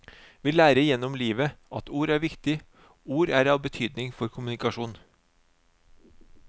Vi lærer gjennom livet at ord er viktig, ord er av betydning for kommunikasjon.